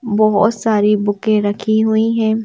बहुत सारी बुकें रखी हुई हैं।